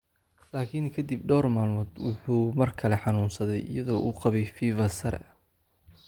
Laakiin kadib dhowr maalmood, wuxuu mar kale xanuunsaday iyadoo uu qabay fevers sare.